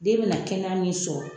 Den bɛna kɛnɛya min sɔrɔ